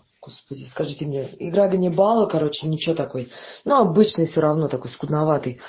господи скажите мне игра ганнибала короче ничего такой ну обычный всё равно того скудноватый